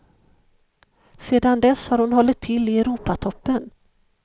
Sedan dess har hon hållit till i europatoppen.